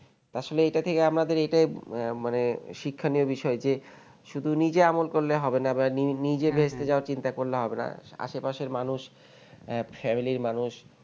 আসলে এটা থেকে আমাদের এটা মানে শিক্ষণীয় বিষয় যে শুধু নিজে আমল করলে হবে না বা নি নিজে বেহেস্তে যাওয়ার চিন্তা করলে হবে না আসে পাশের মানুষ আহ family র মানুষ